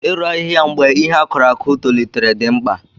Ị rụ ahịhịa mgbe ihe a kụrụ akụ tolitere dị mkpa.